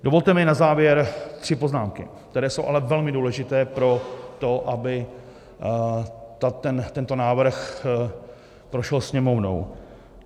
Dovolte mi na závěr tři poznámky, které jsou ale velmi důležité pro to, aby tento návrh prošel Sněmovnou.